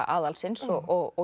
aðalsins og